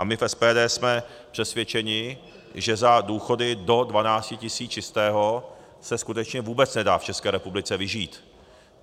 A my v SPD jsme přesvědčeni, že za důchody do 12 tisíc čistého se skutečně vůbec nedá v České republice vyžít.